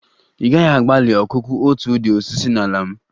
Ị gaghị agbalị ọkụkụ otu ụdị osisi na ala m!